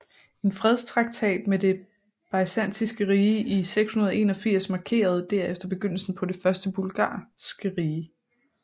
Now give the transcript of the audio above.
En fredstraktat med det Byzantiske rige i 681 markerede derefter begyndelsen på det første bulgarske rige